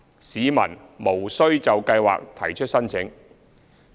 市民無須就計劃提出申請。